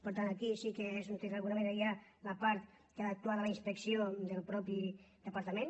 per tant aquí sí que és on d’alguna manera hi ha la part en què ha d’actuar la inspecció del mateix departament